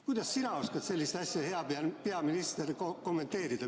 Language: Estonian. Kuidas sina, hea peaminister, oskad sellist asja kommenteerida?